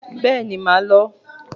Bẹ́ẹ̀ni màá lọ